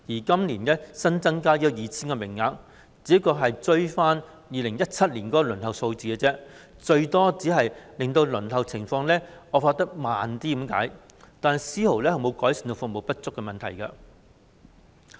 今年新增的 2,000 個名額，只是追回2017年的輪候數字，最多只能減慢輪候情況惡化，但絲毫未能改善服務不足的問題。